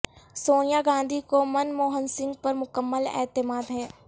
سونیا گاندھی کو من موہن سنگھ پر مکمل اعتماد ہے